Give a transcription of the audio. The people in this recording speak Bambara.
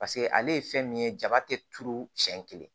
Paseke ale ye fɛn min ye jaba tɛ turu siɲɛ kelen